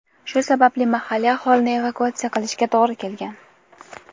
Shu sababli mahalliy aholini evakuatsiya qilishga to‘g‘ri kelgan.